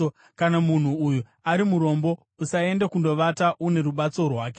Kana munhu uyu ari murombo, usaende kundovata une rubatso rwake.